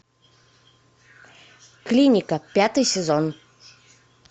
клиника пятый сезон